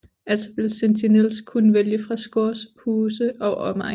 Altså vil Sentinels kunne vælge fra Scourges huse og omvendt